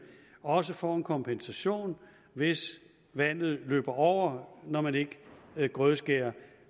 også får en kompensation hvis vandet løber over når man ikke grødskærer